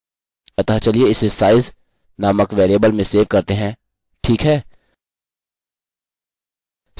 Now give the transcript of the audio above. अतः चलिए इसे साइज़ नामक वेरिएबल में सेव करते हैं ठीक है